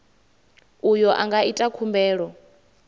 uyo a nga ita khumbelo